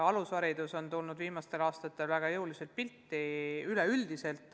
Alusharidus on tulnud viimastel aastatel väga jõuliselt päevakorrale.